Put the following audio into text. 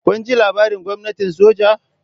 Kun ji labarin gwamnatin soja?